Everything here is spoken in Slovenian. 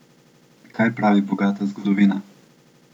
Kaj pravi bogata zgodovina?